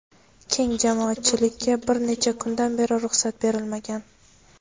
keng jamoatchilikka bir necha kundan beri ruxsat berilmagan.